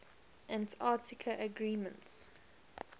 antarctica agreements